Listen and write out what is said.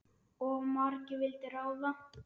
Of margir vildu ráða.